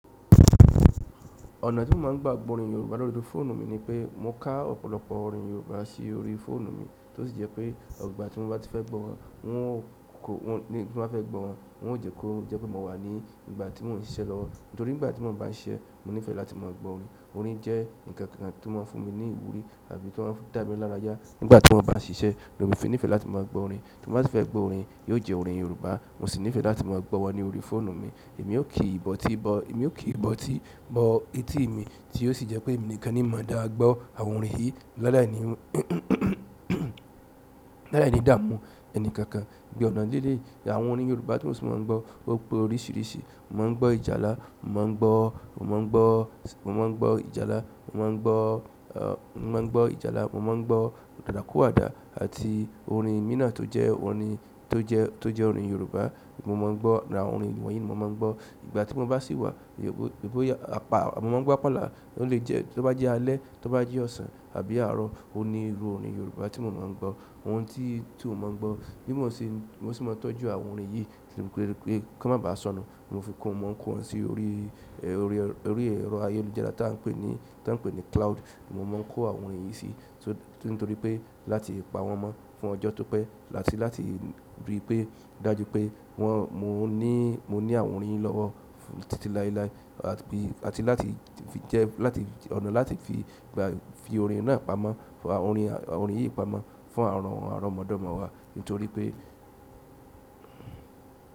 Ọ̀nà ti mo n gba gbo orin Yoruba lo ri fóònù ni pe mo ka ọ̀pọ̀lọpọ̀ orin Yoruba si orí fóònù mi ti o si je pe opo ìgbà ti ba fe gbowon ti ba fe gbo won je pe mo wa ni ìgbà ti mo ba n sise lowo. Nítorí nígbà tí mo ń bá ṣise, mo ní fẹ́ láti máa gbọ́ orin. Orin je nkankan ti o maa n fún mi ni ìwúrí tàbí to maa n da mi laraya. Nígbà tí mo bá ń ṣise ni, mo fí nifẹ́ láti máa gbọ́ orin. Tí mo bá si fẹ́ gbọ́ orin, yóò jẹ́ orin Yorùbá. Mo sì ní fẹ́ láti máa gbo wọn ní orí fóònù mi. Èmi ó kì í bọ́ tí i bọ, èmi ó kì í bọ́ tí i bọ etí mi, tí ó sì jẹ́ pé èmi nìkan ni mo dá gbọ́ àwọn ọ̀rin yìí lálai ni, lálai nìdààmú ẹni kankan. Ìgbà ọ̀nà díí díí, awọ́n orin Yorùbá tí mo sì máa ń gbọ́. O pe oríṣiríṣi. Mo máa ń gbọ́ ìjálá, mo máa ń gbọ́, mo máa ń gbọ́ ìjálá, mo máa ń gbọ́ ìjálá, mo máa ń gbọ́ dàda kò àdá àti orin mina tó jẹ́ orin, tó jẹ́ orin Yorùbá. Mo máa ń gbọ́, àwọn orin wọ̀nyí ni mo máa ń gbọ́. Ìgbà tí mo bá sì wà, ì boyà, mo máa ń gbọ́ apala. Ó lè jẹ́ tó bá jẹ́ alẹ́, tó bá jẹ́ ọ̀sán àbí àárọ̀, òní iru orin Yorùbá tí mo máa ń gbọ́. Oun ti to mo n gbo. Bí mo ṣe, mo se nmáa ń tọ́jú àwọn orín yìí kí wọ́n má ba sọnù. Mo fi kó wọn, mo ń kó wọn sí orí, orí ẹ̀rọ ayélujára tí a ń pè ní, tí a ń pè ní cloud. Mo mo n ko àwọn orí yìí si nítorí pe láti pawon mo fún ojo to pe àti láti ri pe dájú pe won mo ni àwọn orin yìí lowo titi láéláé àti pe àti ọ̀nà láti fi àwọn orin yìí pamọ́ fún àromọdomo wá, nítorí pé.